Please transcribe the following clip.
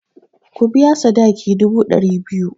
Ku biya sadakin dubu ɗari biyu!